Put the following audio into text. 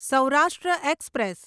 Saurashtra express